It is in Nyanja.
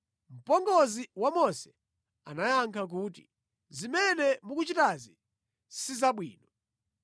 Mpongozi wa Mose anayankha kuti, “Zimene mukuchitazi si zabwino.